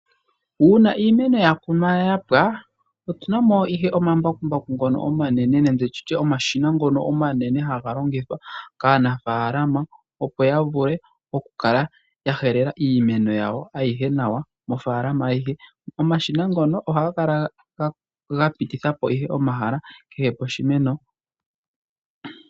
Uuna iimeno ya kunwa ya pwa, otuna mo ihe omambakumbaku omanene nenge nditye omashina ngono omanene haga longithwa kaanafalama. Opo ya vule okukala ya helela iimeno yawo ayihe nawa mofalama ayihe. Omashina ngono ohaga kala ga pititha po ihe omahala kehe poshimeno.